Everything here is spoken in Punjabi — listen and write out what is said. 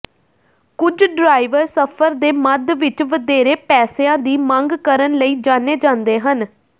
ਕੁਝ ਡ੍ਰਾਈਵਰ ਸਫ਼ਰ ਦੇ ਮੱਧ ਵਿਚ ਵਧੇਰੇ ਪੈਸਿਆਂ ਦੀ ਮੰਗ ਕਰਨ ਲਈ ਜਾਣੇ ਜਾਂਦੇ ਹਨ